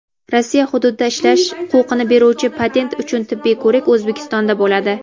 Rossiya hududida ishlash huquqini beruvchi patent uchun tibbiy ko‘rik O‘zbekistonda bo‘ladi.